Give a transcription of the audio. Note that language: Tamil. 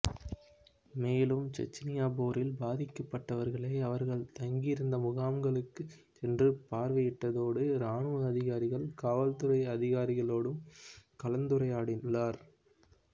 மேலும் செச்னிய போரில் பாதிக்கப்ட்டவர்களை அவர்கள் தங்கியிருந்த முகாம்களுக்க் சென்று பார்வையிட்டதோடு இராணுவ அதிகாரிகள் காவல்துறை அதிகாரிகளோடும் கலந்துரையாடியுள்ளார்